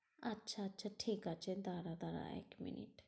আচ্ছা আচ্ছা ঠিকাছে দ্বারা দ্বারা এক মিনিট।